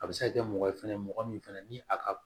A bɛ se ka kɛ mɔgɔ ye fɛnɛ mɔgɔ min fɛnɛ ni a ka